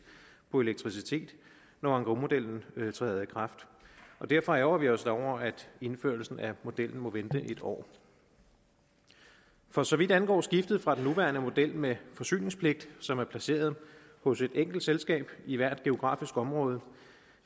på elektricitet når engrosmodellen træder i kraft derfor ærgrer vi os over at indførelsen af modellen må vente en år for så vidt angår skiftet fra den nuværende model med forsyningspligt som er placeret hos et enkelt selskab i hvert geografisk område